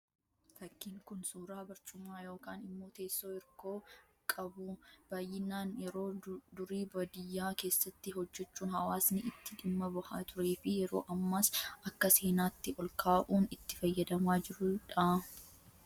Fakkiin kun , suuraa barcuma yookaan immoo teessoo hirkoo qabu, baayyinaan yeroo durii baadiyyaa keessatti hojjechuun hawaasni itti dhimma bahaa turee fi yeroo ammas akka seenaatti olkaa'uun itti fayyadamaa jirudhu.